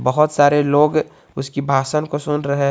बहोत सारे लोग उसकी भाषण को सुन रहे हैं।